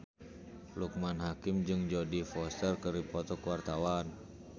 Loekman Hakim jeung Jodie Foster keur dipoto ku wartawan